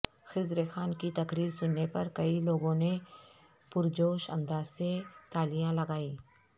خضر خان کی تقریر سننے پر کئی لوگوں نے پر جوش انداز سے تالیان لگائیں